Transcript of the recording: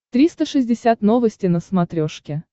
триста шестьдесят новости на смотрешке